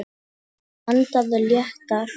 Hann andaði léttar.